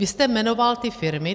Vy jste jmenoval ty firmy.